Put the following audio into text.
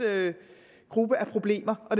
gruppe af problemer og